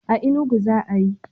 A Inugu za'a yi.